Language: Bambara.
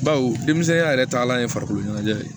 Bawo denmisɛnya yɛrɛ taalan ye farikolo ɲɛnajɛ ye